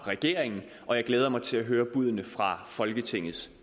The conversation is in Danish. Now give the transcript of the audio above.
regeringen og jeg glæder mig til at høre buddene fra folketingets